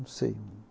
Não sei.